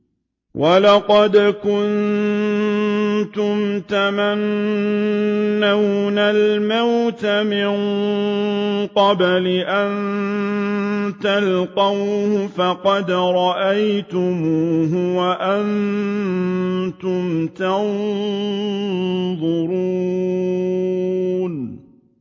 وَلَقَدْ كُنتُمْ تَمَنَّوْنَ الْمَوْتَ مِن قَبْلِ أَن تَلْقَوْهُ فَقَدْ رَأَيْتُمُوهُ وَأَنتُمْ تَنظُرُونَ